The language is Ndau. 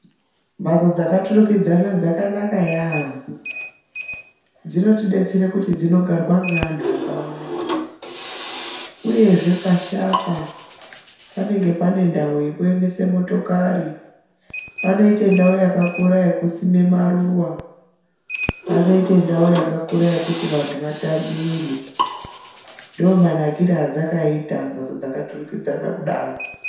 Mhatso dzakaturikidzana dzakanaka yaampho. Dzinotidetsere kuti dzinogarwa ngeanthu akawanda, uyezve pashi apa panenge pane ndau yekuemese motokari, panoita ndau yakakura yekusima maruwa uyezve panoita ndau yakakura yekuti vanthu vatambire. Ndomanakire adzakaita mphatso dzakaturikidzana kudai.